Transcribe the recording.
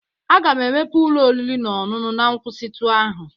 Aga m emepe ụlọ oriri na ọṅụṅụ na nkwụsịtụ ahụ